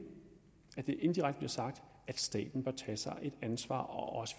indirekte sagt at staten påtage sig et ansvar og